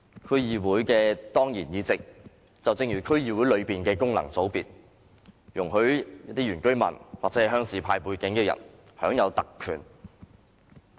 區議會的當然議席，就正如區議會內的功能界別，容許原居民或鄉事派背景的人享有特權。